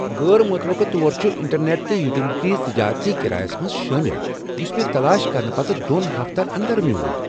غٲر متوقع طور چھ انٹرنیٹ تہٕ یوٹیلیٹیز تجٲرتی کرایس منٛز شٲمل یس مےٚ تلاش کرنہٕ پتہٕ دۄن ہفتن اندر میول۔